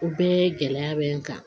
O bɛɛ gɛlɛya bɛ n kan